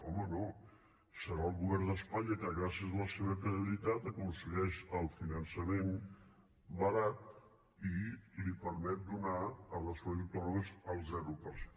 home no deurà ser el govern d’espanya que gràcies a la seva credibilitat aconsegueix el finançament barat i li permet donar a les comunitats autònomes al zero per cent